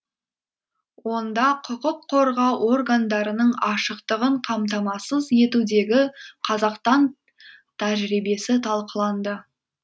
онда құқық қорғау органдарының ашықтығын қамтамасыз етудегі қазақстан тәжірибесі талқыланды